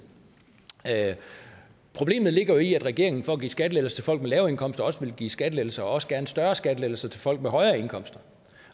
problemet ligger jo i at regeringen for at give skattelettelser til folk med lave indkomster også vil give skattelettelser og også gerne større skattelettelser til folk med højere indkomster